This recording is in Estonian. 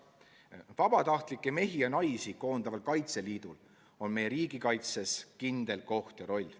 Vabatahtlikke mehi ja naisi koondaval Kaitseliidul on meie riigikaitses kindel koht ja roll.